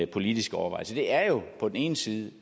politisk overvejelse det er på den ene side og